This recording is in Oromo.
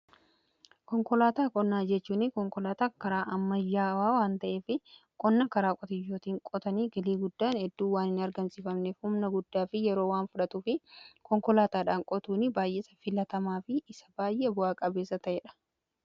konkolaataa qonnaa jechuun konkolaataa karaa ammayyaawaa waan ta'ee fi qonna karaa qotiyyootiin qotanii galii guddaan edduu waan hin argamsiifamnef humna guddaa fi yeroo waan fudhatuu fi konkolaataadhaan qotuun baay'eesa filatamaa fi isa baay'ee bu'aa-qabeessa ta'ee dha.